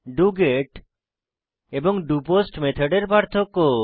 doGet এবং doPost মেথডের পার্থক্য